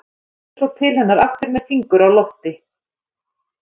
Kemur svo til hennar aftur með fingur á lofti.